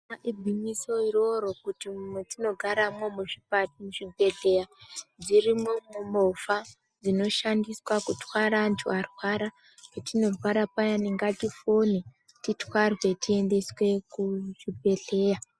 Igwinyiso iroro kuti mwetinogaramwo muzvipa muzvibhedhleya dzirimwo umwo movha dzinoshandiswa kurwara antu arwara .Patinorwara payani ngatifone, titwarwe ,tiendeswe kuzviibhedhleya.